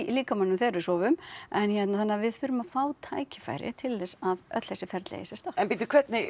líkamanum þegar við sofum en hérna þannig að við þurfum að fá tækifæri til þess að öll þessi ferli eigi sér stað en bíddu